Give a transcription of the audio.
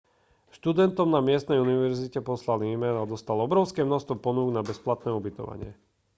študentom na miestnej univerzite poslal e-mail a dostal obrovské množstvo ponúk na bezplatné ubytovanie